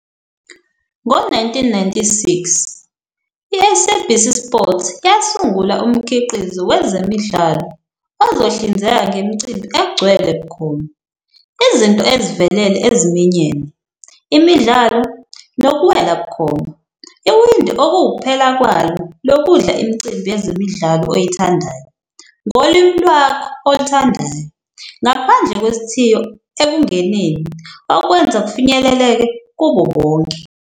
Ngo-1996, i-SABC Sport yasungula umkhiqizo wezemidlalo ozohlinzeka ngemicimbi egcwele bukhoma, izinto ezivelele eziminyene, imidlalo, nokuwela bukhoma! Iwindi okuwukuphela kwalo lokudla imicimbi yezemidlalo oyithandayo, ngolimi lwakho oluthandayo, ngaphandle kwesithiyo ekungeneni, okwenza kufinyeleleke kubo bonke.